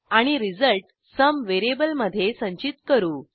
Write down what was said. आणि result sum व्हेरिएबलमधे संचित करू